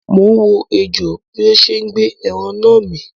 Mo ń wo ejò bí ó ṣe ń gbé ẹran náà mì.